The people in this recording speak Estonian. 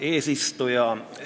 Hea eesistuja!